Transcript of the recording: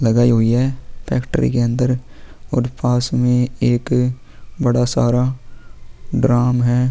लगई हुई है फैक्ट्री के अन्दर और पास में एक बड़ा सारा ड्राम है ।